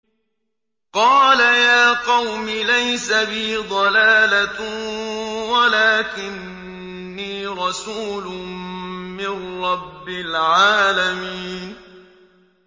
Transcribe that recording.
قَالَ يَا قَوْمِ لَيْسَ بِي ضَلَالَةٌ وَلَٰكِنِّي رَسُولٌ مِّن رَّبِّ الْعَالَمِينَ